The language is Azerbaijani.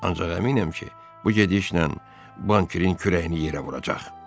Ancaq əminəm ki, bu gedişlə bankerin kürəyini yerə vuracaq.